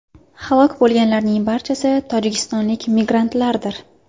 Halok bo‘lganlarning barchasi tojikistonlik migrantlardir.